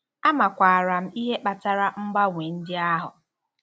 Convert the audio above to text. Amakwaara m ihe kpatara mgbanwe ndị ahụ.